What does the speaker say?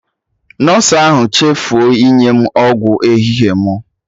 Nọsụ ahụ chefuo inye m ọgwụ ehihie mụ